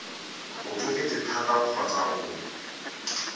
o tsofetse thata kgotsa o